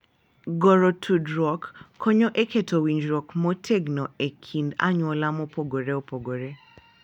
Goro tudruok konyo e keto winjruok motegno e kind anyuola mopogore opogore